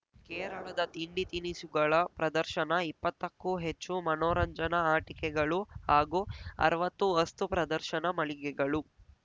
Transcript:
ಕೇರಳದ ತಿಂಡಿ ತಿನಿಸುಗಳ ಪ್ರದರ್ಶನ ಇಪ್ಪತ್ತಕ್ಕೂ ಹೆಚ್ಚು ಮನೋರಂಜನಾ ಆಟಿಕೆಗಳು ಹಾಗೂ ಅರ್ವತ್ತು ವಸ್ತು ಪ್ರದರ್ಶನ ಮಳಿಗೆಗಳು